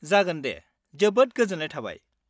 जागोन दे! जोबोद गोजोन्नाय थाबाय।